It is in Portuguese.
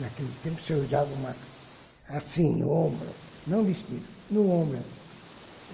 Naquele tempo se usava uma assim, no ombro, não vestido, no ombro, assim.